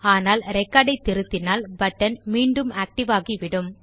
ஆனால் ரெக்கார்ட் ஐ திருத்தினால் பட்டன் மீண்டும் ஆக்டிவ் ஆகிவிடும்